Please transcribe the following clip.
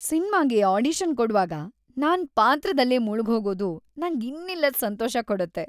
ಸಿನ್ಮಾಗೆ audition ಕೊಡ್ವಾಗ ನಾನ್‌ ಪಾತ್ರದಲ್ಲೇ ಮುಳ್ಗ್‌ಹೋಗೋದು ನಂಗ್‌ ಇನ್ನಿಲ್ಲದ್‌ ಸಂತೋಷ ಕೊಡತ್ತೆ.